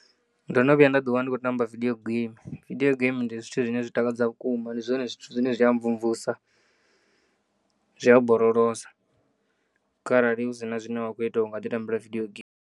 Ndo no vhuya nda ḓiwana ndi khou tamba vidiyo geimi vidio geimi ndi zwithu zwine zwi takadza vhukuma, ndi zwone zwithu zwine zwi ya mvumvusa, zwi ya borolosa kharali hu si na zwine wa kho ita, u ngaḓi tambela vidiyo geimi